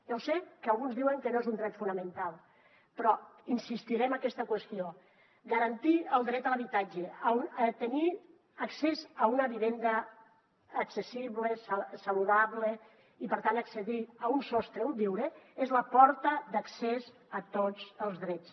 ja ho sé que alguns diuen que no és un dret fonamental però insistiré en aquesta qüestió garantir el dret a l’habitatge a tenir accés a una vivenda accessible saludable i per tant accedir a un sostre on viure és la porta d’accés a tots els drets